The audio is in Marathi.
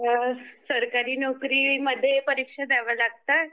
सरकारी नोकरी मध्ये परीक्षा द्याव्या लागतात